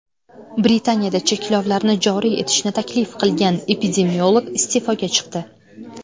Britaniyada cheklovlarni joriy etishni taklif qilgan epidemiolog iste’foga chiqdi.